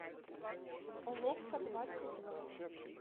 уловка двадцать два